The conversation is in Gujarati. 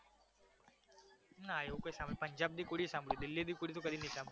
ના એવુ કાંઈ સાંભળ્યુ પંજાબની કુડી સાંભળ્યુ દિલ્હીની કુડી તો કદી નહિ સાંભળ્યુ